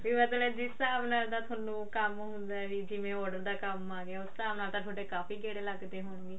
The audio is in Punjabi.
ਵੀ ਮਤਲਬ ਜਿਸ ਹਿਸਾਬ ਨਾਲ ਦਾ ਥੋਨੂੰ ਕੰਮ ਹੁੰਦਾ ਵੀ ਜਵੇਂ order ਦਾ ਕੰਮ ਆ ਗਿਆ ਉਸ ਹਿਸਾਬ ਨਾਲ ਤਾਂ ਥੋਡੇ ਕਾਫੀ ਗੇੜੇ ਲੱਗਦੇ ਹੋਣਗੇ